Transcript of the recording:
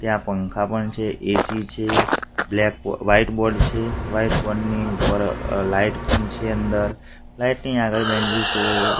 ત્યાં પંખા પણ છે એ_સી છે બ્લેક બો વ્હાઇટ બોર્ડ છે વ્હાઇટ બોર્ડ ની ઉપર અ લાઈટ પણ છે અંદર લાઈટ ની આગળ --